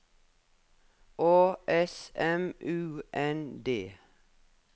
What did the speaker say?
Å S M U N D